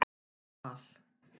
Val